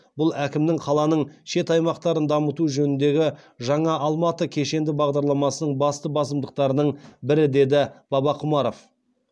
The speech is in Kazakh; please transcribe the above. бұл әкімнің қаланың шет аймақтарын дамыту жөніндегі жаңа алматы кешенді бағдарламасының басты басымдықтарының бірі деді бабақұмаров